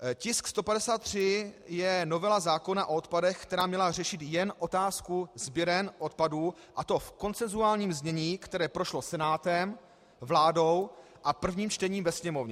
Tisk 153 je novela zákona o odpadech, která měla řešit jen otázku sběren odpadů, a to v konsensuálním znění, které prošlo Senátem, vládou a prvním čtením ve Sněmovně.